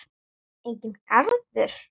Enginn garður.